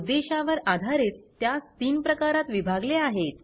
उद्देशावर आधारित त्यास तीन प्रकारात विभागले आहेत